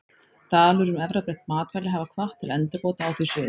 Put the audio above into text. Deilur um erfðabreytt matvæli hafa hvatt til endurbóta á því sviði.